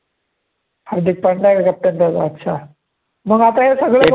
हार्दिक पांड्या आहे का captain त्याचा अच्छा म्हणून आता हे सगळं